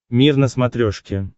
мир на смотрешке